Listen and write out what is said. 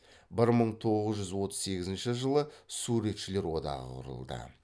бір мың тоғыз жүз отыз сегізінші жылы суретшілер одағы құрылды